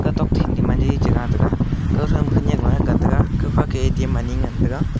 tok thin dema de chiga tega kawtho ma khenek low ga taiga kawkha ke atm ani ngan tega.